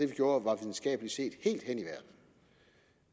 gjorde var videnskabeligt set helt hen